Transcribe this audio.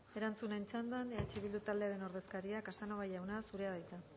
erantzunen txandan eh bildu taldearen ordezkaria casanova jauna zurea da hitza